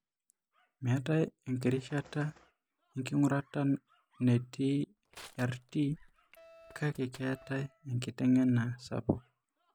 Meetae enkirishata enking'urata netii e RT kake keetae enkiteng'ena sapuk.